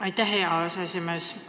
Aitäh, hea aseesimees!